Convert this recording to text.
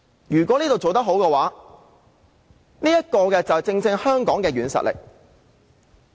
如果我們在這方面做得好，這正是香港的軟實力。